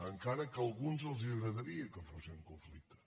encara que a alguns els agradaria que fossin conflicte